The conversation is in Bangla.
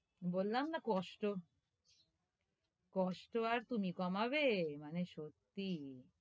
বললাম না কষ্ট, কষ্ট আর তুমি কমাবে? মানে, সত্যি,